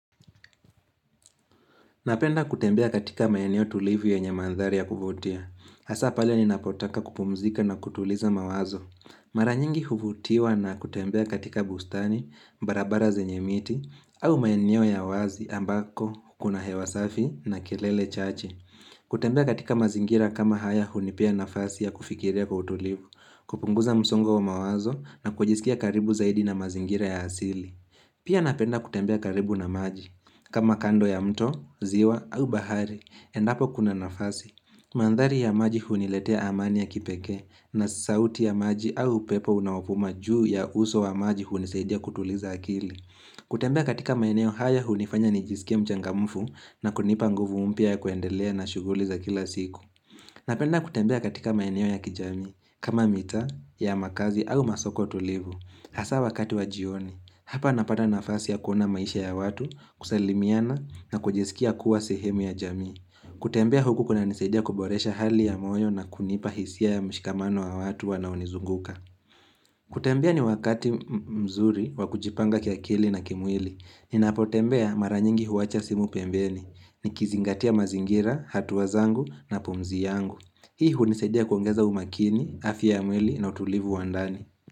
Napenda kutembea katika maeneo tulivu yenyemandhari ya kuvutia. Hasa pale ni napotaka kupumzika na kutuliza mawazo. Maranyingi huvutiwa na kutembea katika bustani, barabara zenye miti, au maeneo ya wazi ambako, kuna hewasafi na kelele chache. Kutembea katika mazingira kama haya hunipea nafasi ya kufikiria kwa utulivu, kupunguza msongo wa mawazo na kujisikia karibu zaidi na mazingira ya asili. Pia napenda kutembea karibu na maji. Kama kando ya mto, ziwa au bahari, endapo kuna nafasi. Mandhari ya maji huniletea amani ya kipekee na sauti ya maji au upepo unaovuma juu ya uso wa maji hunisaidia kutuliza akili. Kutembea katika maeneo haya hunifanya nijisikie mchangamfu na kunipa nguvu mpya ya kuendelea na shughuli za kila siku. Napenda kutembea katika maeneo ya kijamii kama mitaa ya makazi au masoko tulivu. Asa wakati wajioni, hapa napata nafasi ya kuona maisha ya watu, kusalimiana na kujisikia kuwa sehemu ya jamii. Kutembea huku kuna nisaidia kuboresha hali ya moyo na kunipa hisia ya mshikamano wa watu wanaonizunguka. Kutembea ni wakati mzuri wakujipanga kia kili na kimwili. Ninapotembea maranyingi huacha simu pembeni. Nikizingatia mazingira, hatua zangu na pumzi yangu. Hii hunisaidia kuongeza umakini, afya ya mwili na utulivu wandani.